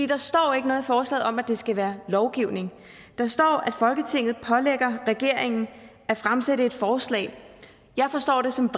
der står ikke noget i forslaget om at det skal være en lovgivning der står at folketinget pålægger regeringen at fremsætte et forslag jeg forstår det som